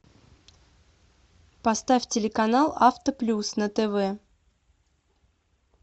поставь телеканал авто плюс на тв